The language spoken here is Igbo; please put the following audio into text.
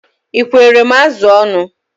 Ị ekwere m azụ ọnụ?